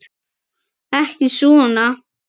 Ekki svona.